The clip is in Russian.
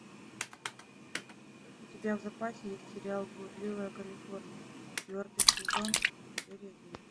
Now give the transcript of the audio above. у тебя в запасе есть сериал блудливая калифорния четвертый сезон серия девять